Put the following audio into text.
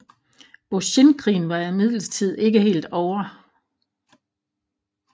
Boshinkrigen var imidlertid ikke helt ovre